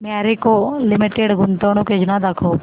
Marico limited गुंतवणूक योजना दाखव